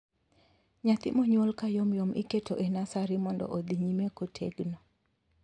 Nyathi monyuol ka yomyom iketo e nasari mondo odhi nyime kotegno.